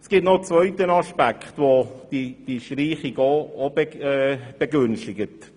Es gibt noch einen zweiten Aspekt, der diese Streichung begünstigt: